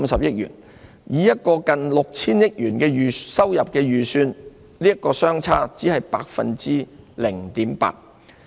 以一個近 6,000 億元的收入預算而言，這個差別只是 0.8%。